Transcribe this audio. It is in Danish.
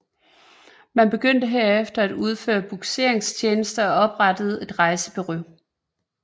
Man begyndte herefter at udføre bugseringstjenester og oprettede et rejsebureau